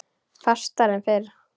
Fastar en fyrr.